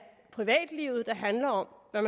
privatlivet der handler om hvad